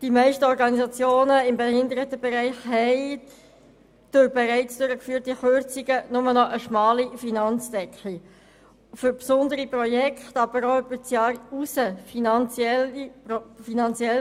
Die meisten Organisationen des Behindertenbereichs haben aufgrund bereits durchgeführter Kürzungen nur noch eine schmale Finanzdecke, um besondere Projekte, aber auch um Projekte, die über das Jahr hinausgehen, finanziell abzusichern.